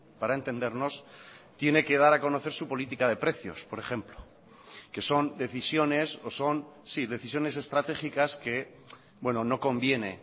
para entendernos tiene que dar a conocer su política de precios por ejemplo que son decisiones o son sí decisiones estratégicas que no conviene